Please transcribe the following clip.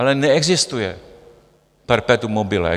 Ale neexistuje perpetuum mobile.